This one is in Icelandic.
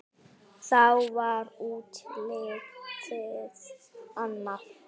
Þá var útlitið annað.